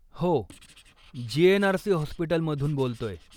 हो, जी.एन.आर.सी. हॉस्पिटलमधून बोलतोय.